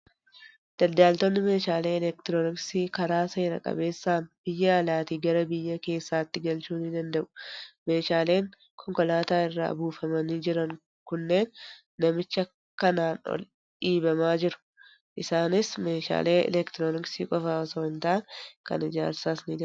Daldaltoonni meeshaalee elektirooniksii karaa seera qabeessaan biyya alaatii gara biyya keessaatti galchuu ni danda'u. Meeshaaleen konkolaataa irraa buufamanii jiran kunneen namicha kanaan ol dhiibamaa jiru. Isaanis meeshaalee elektirooniksii qofaa osoo hin taane kan ijaarsaas ni dabalatu.